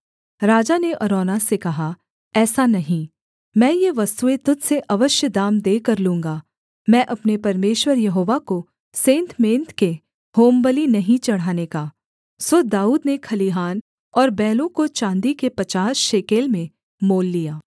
राजा ने अरौना से कहा ऐसा नहीं मैं ये वस्तुएँ तुझ से अवश्य दाम देकर लूँगा मैं अपने परमेश्वर यहोवा को सेंतमेंत के होमबलि नहीं चढ़ाने का सो दाऊद ने खलिहान और बैलों को चाँदी के पचास शेकेल में मोल लिया